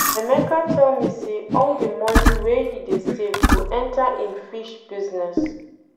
Emeka tell me say all the money wey he dey save go enter im fish business